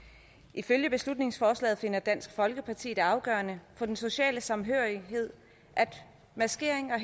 ifølge beslutningsforslaget finder dansk folkeparti det afgørende for den sociale samhørighed at maskering og